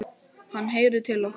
Hann heyrir til okkar.